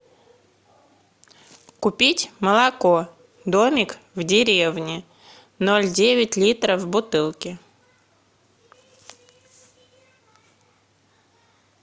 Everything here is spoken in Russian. купить молоко домик в деревне ноль девять литра в бутылке